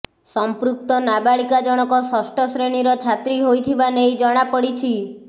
ସମ୍ପୃକ୍ତ ନାବାଳିକା ଜଣକ ଷଷ୍ଠ ଶ୍ରେଣୀର ଛାତ୍ରୀ ହୋଇଥିବା ନେଇ ଜଣାପଡିଛି